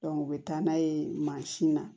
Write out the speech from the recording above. u bɛ taa n'a ye mansin na